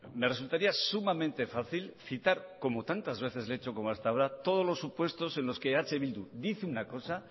me resultaría sumamente fácil citar como tantas veces le he hecho como hasta ahora todos los supuestos en los que eh bildu dice una cosa